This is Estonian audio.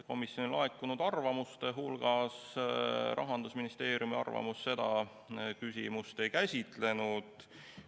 Komisjonile laekunud arvamuste hulgas olnud Rahandusministeeriumi arvamus seda küsimust ei käsitlenud.